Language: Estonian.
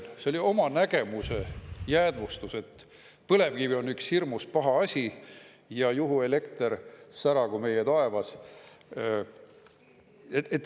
See oli oma nägemuse jäädvustus, et põlevkivi on üks hirmus paha asi ja juhuelekter säragu meie taevas.